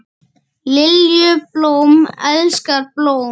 Lilju, blóm elskar blóm.